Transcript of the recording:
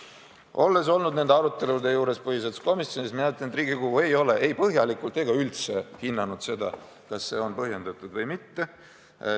Olles olnud nende arutelude juures põhiseaduskomisjonis, ma ütlen, et Riigikogu ei ole ei põhjalikult ega üldse hinnanud seda, kas see on põhjendatud või mitte.